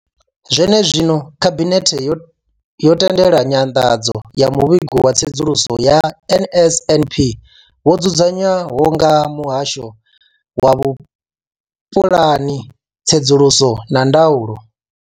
Zwenezwino, khabinethe yo tendela nyanḓadzo ya muvhigo wa tsedzuluso ya NSNP wo dzudzanywaho nga muhasho wa vhupulani, tsedzuluso na ndaulo.